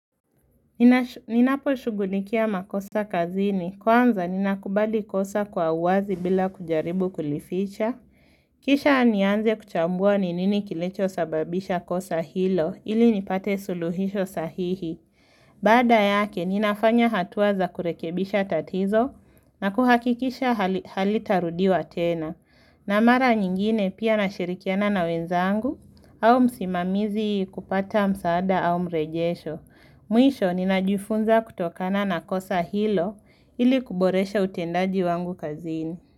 Ninaposhugulikia makosa kazini kwanza ninakubali kosa kwa uwazi bila kujaribu kulificha. Kisha nianze kuchambua ni nini kilicho sababisha kosa hilo ili nipate suluhisho sahihi. Baada yake ninafanya hatua za kurekebisha tatizo na kuhakikisha halitarudiwa tena. Na mara nyingine pia nashirikiana na wenzangu au msimamizi kupata msaada au mrejesho. Mwisho ninajufunza kutokana na kosa hilo ili kuboresha utendaji wangu kazini.